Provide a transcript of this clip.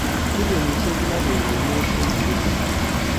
Billionishek 6.5 che ki nyor..